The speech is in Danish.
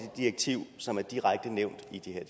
direktiv som er direkte nævnt